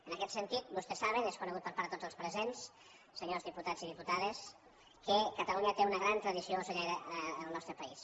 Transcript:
en aquest sentit vostès saben és conegut per part de tots els presents senyors diputats i diputades que catalunya té una gran tradició ocellaire el nostre país